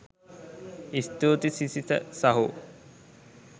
ස්තුතියි සිසිත සහෝ